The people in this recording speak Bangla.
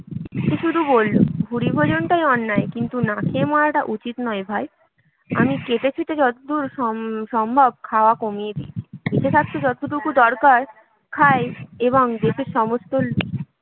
সে শুধু বলল, ভুরিভোজনটা অন্যায়, কিন্তু না খেয়ে মরাটা উচিত নয় ভাই আমি কেটেছেঁটে যতদূর সমসম্ভব খাওয়া কমিয়ে দিয়েছি বেঁচে থাকতে যতটুকু দরকার খাই এবং দেশের সমস্ত